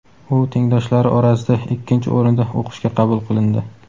u tengdoshlari orasida ikkinchi o‘rinda o‘qishga qabul qilindi.